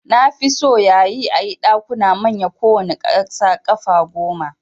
Nafi so yayi ayi Ɗakuna manya kowanne kasa ƙafa gome